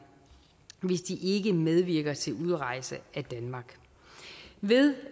hvis de ikke medvirker til udrejse af danmark ved